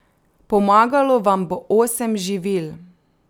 Pomagalo vam bo osem živil.